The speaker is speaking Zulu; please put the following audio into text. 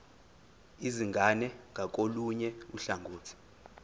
izingane ngakolunye uhlangothi